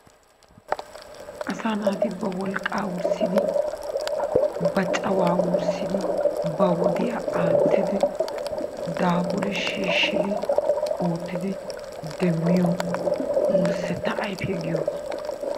Asaa naati ba wolqaqa wurssidi ba cawaa wurssidi ba woddiya aatidi daafuri nshiishidi ootidi demmiyo wursetta ayfe giyoogaa